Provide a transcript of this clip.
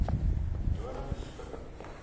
nonebeskikking